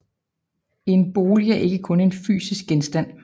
En bolig er ikke kun en fysisk genstand